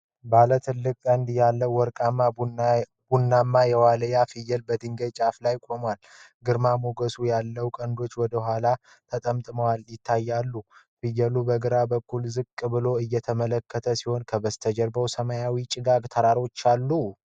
ባለ ትልቅ ቀንዶች ያለው ወርቃማ-ቡናማ የዋልያ ፍየል በድንጋይ ጫፍ ላይ ቆሟል። ግርማ ሞገስ ያለው ቀንዶቹ ወደ ኋላ ተጠምጥመው ይታያሉ። ፍየሉ በግራ በኩል ዝቅ ብሎ እየተመለከተ ሲሆን፣ ከበስተጀርባ ሰማያዊና ጭጋጋማ ተራሮች አሉ።